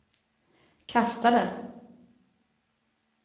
kastade